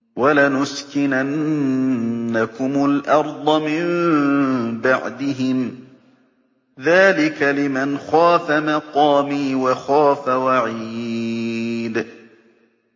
وَلَنُسْكِنَنَّكُمُ الْأَرْضَ مِن بَعْدِهِمْ ۚ ذَٰلِكَ لِمَنْ خَافَ مَقَامِي وَخَافَ وَعِيدِ